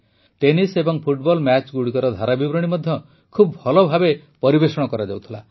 tennis ଏବଂ football ମ୍ୟାଚଗୁଡ଼ିକର ଧାରାବିବରଣୀ ମଧ୍ୟ ଖୁବ ଭଲ ଭାବେ ପରିବେଷଣ କରାଯାଉଥିଲା